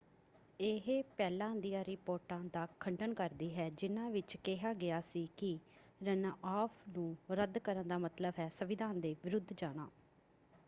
ਇਹ ਪਹਿਲਾਂ ਦੀਆਂ ਰਿਪੋਰਟਾਂ ਦਾ ਖੰਡਨ ਕਰਦੀ ਹੈ ਜਿਨ੍ਹਾਂ ਵਿੱਚ ਕਿਹਾ ਗਿਆ ਸੀ ਕਿ ਰਨਆਫ਼ ਨੂੰ ਰੱਦ ਕਰਨ ਦਾ ਮਤਲਬ ਹੈ ਸੰਵਿਧਾਨ ਦੇ ਵਿਰੁੱਧ ਜਾਣਾ।